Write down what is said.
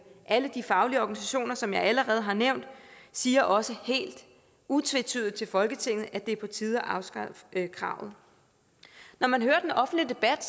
alle de faglige organisationer som jeg allerede har nævnt siger også helt utvetydigt til folketinget at det er på tide at afskaffe kravet når man hører den offentlige debat